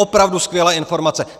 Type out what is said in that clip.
Opravdu skvělé informace.